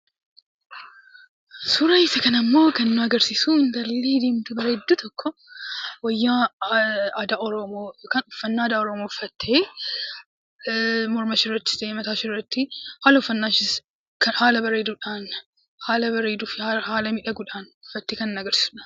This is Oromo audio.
Suuraan kunimmoo kan nu agarsiisu intalli diimtuu bareedduu tokko wayyaa aadaa oromoo kan uffannaa aadaa oromoo uffattee morma ishee irratti mataa isheerratti haalli uffannaashee haala bareedudhaanii fi haala miidhaguun uffattee kan agarsiisudha.